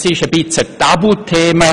Es ist gewissermassen ein TabuThema: